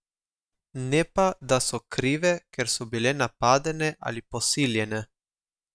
Ne pa, da so krive, ker so bile napadene ali posiljene.